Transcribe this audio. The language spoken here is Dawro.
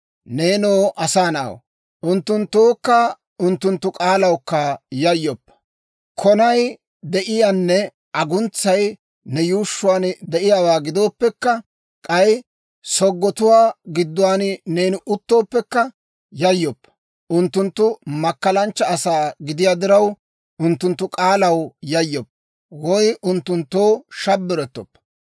Neenoo asaa na'aw, unttunttookka unttunttu k'aalawukka yayyoppa! Konay de'iyaanne aguntsay ne yuushshuwaan de'iyaawaa gidooppekka, k'ay soggotuwaa gidduwaan neeni uttooppekka, yayyoppa. Unttunttu makkalanchcha asaa gidiyaa diraw, unttunttu k'aalaw yayyoppa; woy unttunttoo shabbirettoppa.